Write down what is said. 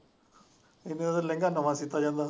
ਇੰਨੇ ਦਾ ਤੇ ਲਹਿੰਗਾ ਨਵਾਂ ਸਿਤਾ ਜਾਂਦਾ।